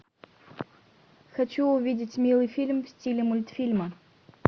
хочу увидеть милый фильм в стиле мультфильма